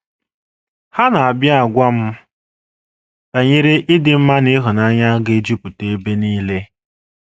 Ha na - abịa agwa m banyere ịdị mma na ịhụnanya ga - ejupụta ebe nile....